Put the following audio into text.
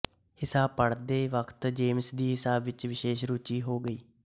ਹਿਸਾਬ ਪੜ੍ਹਦੇ ਵਕਤ ਜੇਮਸ ਦੀ ਹਿਸਾਬ ਵਿੱਚ ਵਿਸ਼ੇਸ਼ ਰੂਚੀ ਹੋ ਗਈ